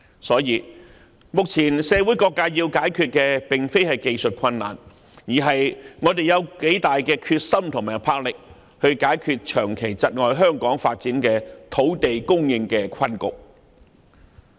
所以，目前社會各界要解決的並非技術困難，而是我們有多大的決心和魄力解決長期窒礙香港發展的土地供應困局。